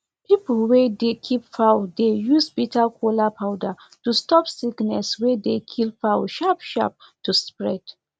people wey dey keep fowl dey use bitter kola powder to stop sickness wey dey kill fowl sharp sharp to spread